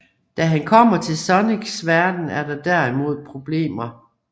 Da han kommer til Sonics verden er der derimod problemer